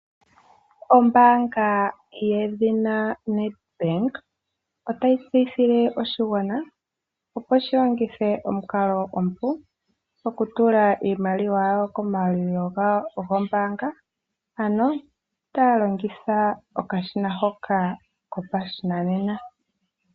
Ombaanga yedhina NedBank otayi tseyithile oshigwana opo shi longithe omukalo omupu okutula iimaliwa yawo komayalulilo gawo goombaanga ano taya longitha okashina hoka kopashinanena.